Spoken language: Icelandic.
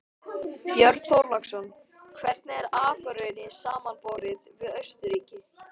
Björn Þorláksson: Hvernig er Akureyri samanborið við Austurríki?